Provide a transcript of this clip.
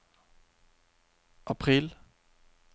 april